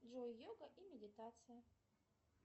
джой йога и медитация